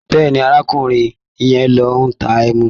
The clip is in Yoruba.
Bẹ́ẹ̀ni, arákùrin yẹn ló ń ta ẹmu.